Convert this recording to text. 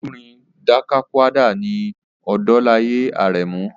Olórin Dakakúàdà ni Odolaye Arẹmu.